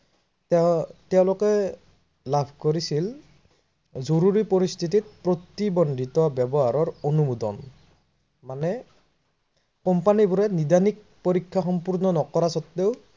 তেওতেওলোকে লাভ কৰিছিল। জৰুৰী পৰিস্থিতিত প্ৰতিবন্ধিত ব্যৱহাৰৰ অনুমোদন মানে company বোৰে নিৰ্ধাৰিত পৰীক্ষা সম্পন্ন নকৰাৰ স্বত্তেও